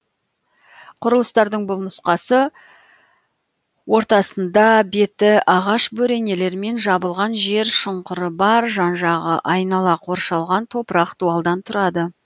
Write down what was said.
құрылыстардың бұл нұсқасы ортасында беті ағаш бөренелермен жабылған жер шұңқыры бар жан жағы айнала қоршалған топырақ дуалдан тұрады